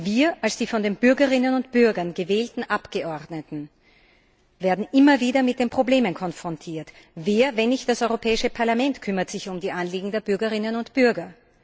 Wir als die von den Bürgerinnen und Bürgern gewählten Abgeordneten werden immer wieder mit den Problemen konfrontiert. Wer, wenn nicht das Europäische Parlament, kümmert sich um die Anliegen der Bürgerinnen und Bürger?